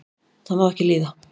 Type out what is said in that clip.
það má ekki líða